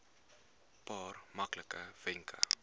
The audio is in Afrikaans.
paar maklike wenke